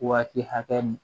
Waati hakɛ